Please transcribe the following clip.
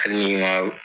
Hali n'i ma